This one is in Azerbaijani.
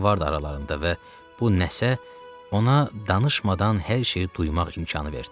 Nəsə vardı aralarında və bu nəsə ona danışmadan hər şeyi duymaq imkanı verdi.